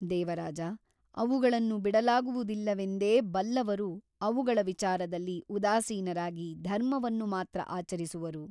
ದೇವರಾಜ ಅವುಗಳನ್ನು ಬಿಡಲಾಗುವುದಿಲ್ಲವೆಂದೇ ಬಲ್ಲವರು ಅವುಗಳ ವಿಚಾರದಲ್ಲಿ ಉದಾಸೀನರಾಗಿ ಧರ್ಮವನ್ನು ಮಾತ್ರ ಆಚರಿಸುವರು.